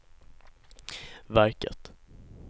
verket